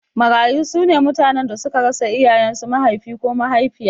Marayu sune mutanen da suka rasa iyayen su Mahaifi ko mahaifiya